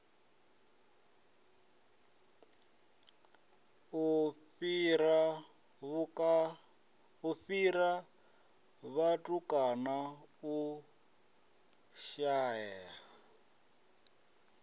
u fhira vhatukana u shaea